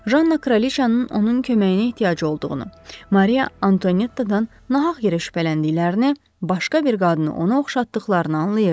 Janna kraliçanın onun köməyinə ehtiyacı olduğunu, Mariya Antuanettadan nahaq yerə şübhələndiklərini, başqa bir qadını ona oxşatdıqlarını anlayırdı.